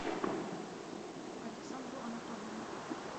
александру анатольевну